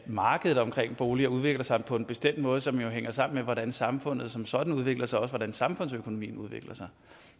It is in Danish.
markedet omkring boliger udvikler sig på en bestemt måde som jo hænger sammen med hvordan samfundet som sådan udvikler sig og også hvordan samfundsøkonomien udvikler sig